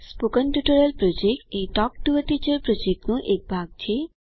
spoken tutorial project એ talk to a teacher પ્રોજેક્ટનો એક ભાગ છે